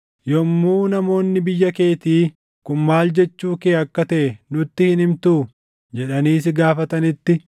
“Yommuu namoonni biyya keetii, ‘Kun maal jechuu kee akka taʼe nutti hin himtuu?’ jedhanii si gaafatanitti,